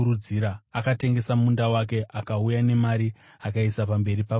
akatengesa munda wake akauya nemari akaiisa pamberi pavapostori.